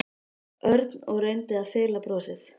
Örn og reyndi að fela brosið.